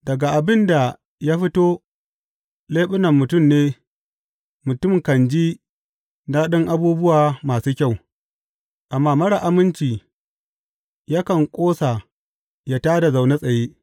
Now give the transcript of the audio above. Daga abin da ya fito leɓunan mutum ne mutum kan ji daɗin abubuwa masu kyau, amma marar aminci yakan ƙosa ya tā da na zaune tsaye.